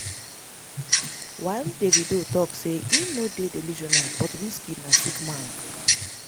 while davido tok say im no dey delusional but wizkid na sick man.